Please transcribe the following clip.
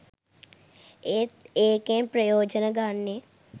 ඒත් ඒකෙන් ප්‍රයෝජන ගන්නේ